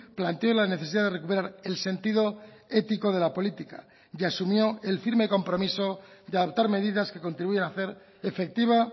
planteó la necesidad de recuperar el sentido ético de la política y asumió el firme compromiso de adaptar medidas que contribuyan a hacer efectiva